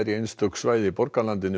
einstökum svæðum í borgarlandinu